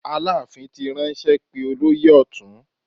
Aláàfin ti ránṣẹ́ pé olóyè ọ̀tún.